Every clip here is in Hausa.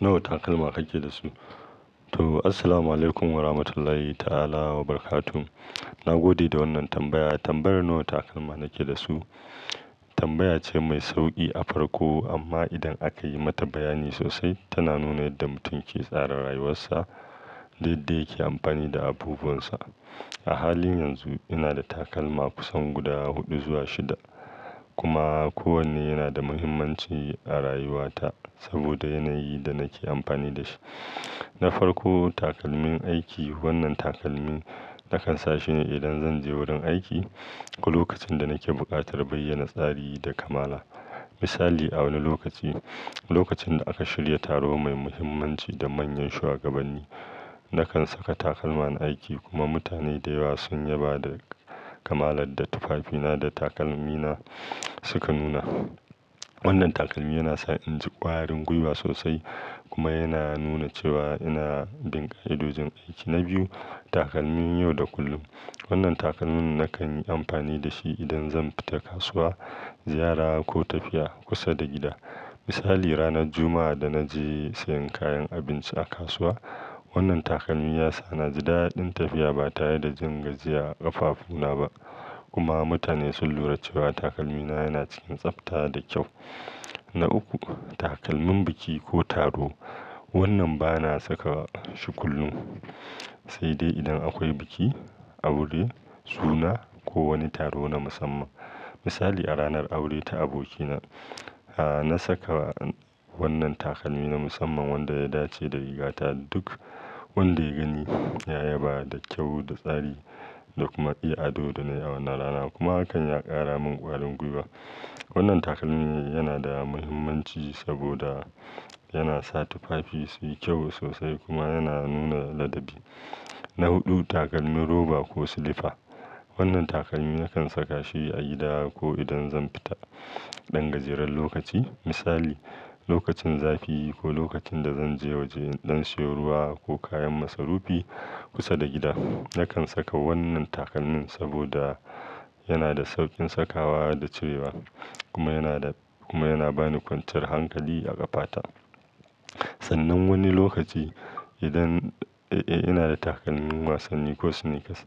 Nawa takalma kake da su? To, assalamualaikum warahmatullahi ta'ala wabarakatuh. Na gode da wannan tambaya. Tambayar nawa takalma nake da su tambaya ce mai sauki a farko. Amma idan aka yi mata bayani sosai, tana nuna yadda mutum ke tsara rayuwarsa, yadda yake amfani da abubunsa. A halin yanzu ina da takalma kusan guda huɗu zuwa shida, kuma kowanne yana da muhimmanci a rayuwata saboda yanayin da nake amfani da shi. Na farko, takalmin aiki. Wannan takalmi na kan sa shi idan zan je wurin aiki ko lokacin da nake buƙatar bayyana tsari da kamala. Misali, a wani lokaci, lokacin da aka shirya taro mai muhimmanci da manyan shugabanni, na kan saka takalman aiki kuma mutane da yawa sun yaba da kamalar da tufafina da takalmina suka nuna. Wannan takalmi yana sa in ji ƙwarin gwiwa sosai kuma yana nuna cewa ina bin ƙa'idodin aiki. Na biyu, takalmin yau da kullum. Wannan takalmin na kan yi amfani da shi idan zan fita kasuwa, ziyara ko tafiya kusa da gida. Misali, ranar Juma'a da naje siyan kayan abinci a kasuwa. Wannan takalmi ya sa na ji daɗin tafiya ba tare da jin gajiya a ƙafafuna ba kuma mutane sun lura cewa takalmina yana cikin tsafta da kyau. Na uku, takalmin biki ko taro. Wannan ba na saka shi kullum sai dai idan akwai biki, aure, suna ko wani taro na musamman. Misali, a ranar aure ta abokina, na saka wannan takalmi na musamman wanda ya dace da rigata. Duk wanda ya gani ya yaba da kyau da tsari da kuma i'ado da na yi a wannan rana kuma hakan ya ƙara min ƙwarin gwiwa. Wannan takalmi yana da muhimmanci saboda yana sa tufafi su yi kyau sosai kuma yana nuna ladabi. Na huɗu, takalmin roba ko silifa. Wannan takalmi na kan saka shi a gida ko idan zan fita ɗan gajeren lokaci. Misali, lokacin zafi ko lokacin da zan je waje ɗan siyo ruwa ko kayan masarufi kusa da gida. Na kan saka wannan takalmin saboda yana da sauƙin sakawa da cirewa kuma yana da-- kuma yana ba ni kwanciyar hankali a ƙafata. Sannan wani lokaci idan-- eh, ina da takalmin wasanni ko sneakers.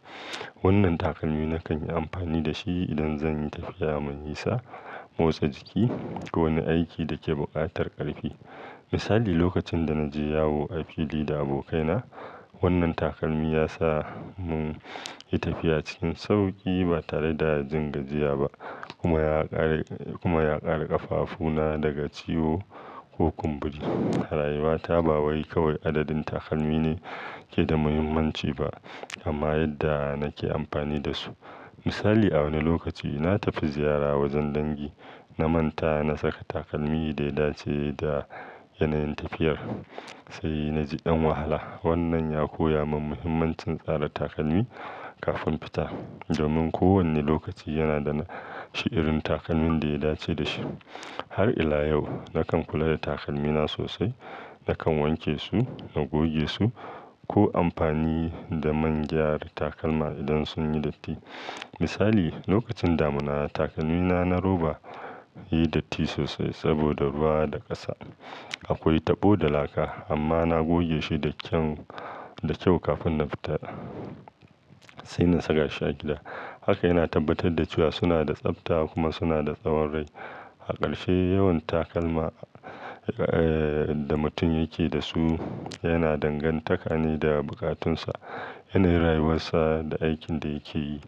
Wannan takalmi na kan yi amfani da shi idan zan yi tafiya mai nisa, motsa jiki ko wani aiki da ke buƙatar ƙarfi. Misali, lokacin da na je yawo a fili da abokaina, wannan takalmi ya sa mun yi tafiya cikin sauƙi ba tare da jin gajiya ba kuma ya ƙare-- kuma ya ƙare ƙafafuna daga ciwo ko kumburi. A rayuwata ba wai kawai adadin takalmi ne ke da muhimmanci ba kuma yadda nake amfani da su. Misali, a wani lokaci na tafi ziyara wajen dangi na manta na saka takalmi da ya dace da yanayin tafiyar sai na ji ɗan wahala. Wannan ya koya min muhimmancin tsara takalmi kafin fita domin kowane lokaci yana da shi'irin takalmin da ya dace da shi. Har ila yau, na kan kula da takalmina sosai. Na kan wanke su, na goge su ko amfani da man gyara takalma idan sun yi datti. Misali, lokacin damuna takalmina na roba ya yi datti sosai saboda ruwa da ƙasa. Akwai tabo da laka amma na goge shi da kyan-- da kyau kafin na fita sai na saka shi a gida. Haka yana tabbatar da cewa suna da tsafta kuma suna da tsawon rai. A ƙarshe, yawan takalma eh, da mutum yake da su yana danganta ne da bukatunsa, yanayin rayuwarsa da aikin da yake yi.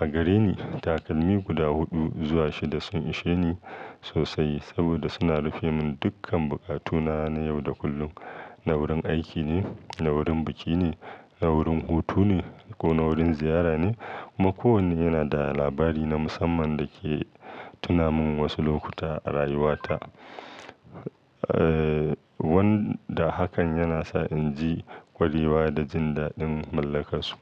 A gare ni takalmi guda huɗu zuwa shida sun ishe ni sosai saboda suna rufe mun dukkan bukatuna na yau da kullum. Na wurin aiki ne, na wurin biki ne, na wurin hutu ne ko na wurin ziyara ne kuma kowanne yana da labari na musamman da ke tuna min wasu lokuta a rayuwata. Eh, wanda hakan yana sa in ji ƙwariwa da jin daɗin mallakansu.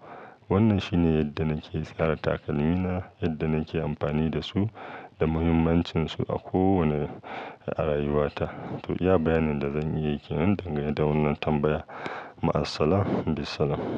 Wannan shi ne yadda nake tsara takalmina, yadda nake amfani da su da muhimmancinsu a kowane a rayuwata. To, iya bayanin da zan yi yake nan dangane da wannan tambaya. Ma assalamu bisalam.